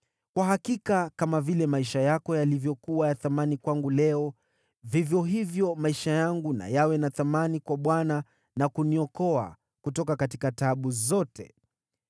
Kwa hakika kama vile maisha yako yalivyokuwa ya thamani kwangu leo, vivyo hivyo maisha yangu na yawe na thamani kwa Bwana na kuniokoa kutoka taabu zote.”